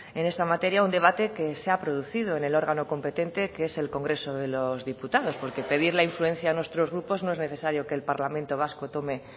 en esta materia un debate que se ha producido en el órgano competente que es el congreso de los diputados porque pedir la influencia a nuestros grupos no es necesario que el parlamento vasco tome